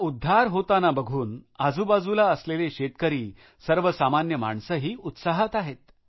नदीचा उद्धार होतांना बघतांना आजूबाजूला असलेले शेतकरी सर्वसामान्य माणसेही उत्साहात आहेत